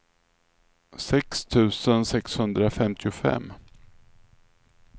sex tusen sexhundrafemtiofem